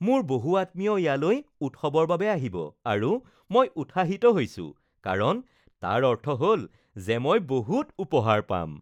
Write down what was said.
মোৰ বহু আত্মীয় ইয়ালৈ উৎসৱৰ বাবে আহিব আৰু মই উৎসাহিত হৈছো কাৰণ তাৰ অৰ্থ হ’ল যে মই বহুত উপহাৰ পাম